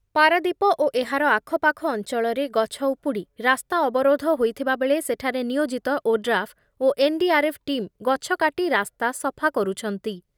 ପାରାଦ୍ଵୀପ ଓ ଏହାର ଆଖପାଖ ଅଞ୍ଚଳରେ ଗଛ ଉପୁଡ଼ି ରାସ୍ତା ଅବରୋଧ ହୋଇଥିବାବେଳେ ସେଠାରେ ନିୟୋଜିତ ଓଡ୍ରାଫ୍ ଓ N D R F team ଗଛ କାଟି ରାସ୍ତା ସଫା କରୁଛନ୍ତି।